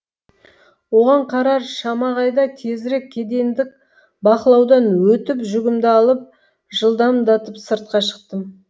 оған қарар шама қайда тезірек кедендік бақылаудан өтіп жүгімді алып жылдамдатып сыртқа шықтым